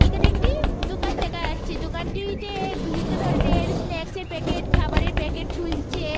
এখানে একটি দোকান দেখা যাচ্ছে। দোকান টিতে বিভিন্ন ধরনের স্নাকস এর প্যাকেট খাবারের প্যাকেট ঝুলছে।